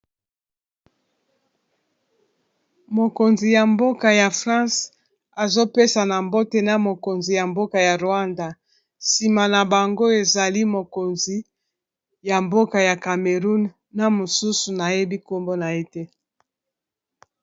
Mokonzi ya mboka ya france azopesa na mbote na mokonzi ya mboka ya rwanda nsima na bango ezali mokonzi ya mboka ya Cameroun na mosusu nayebi nkombo na ye te.